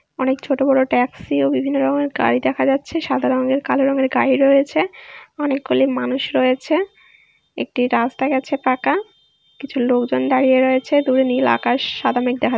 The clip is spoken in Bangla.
অনেক ছোট বড়ো ট্যাক্সি ও বিভিন্ন রকমের গাড়ি দেখা যাচ্ছে সাদা রঙের কালো রঙের গাড়ি রয়েছে অনেকগুলি মানুষ রয়েছে একটি রাস্তা গেছে পাকা-আ কিছু লোকজন দাঁড়িয়ে রয়েছে দূরে নীল আকাশ সাদা মেঘ দেখা--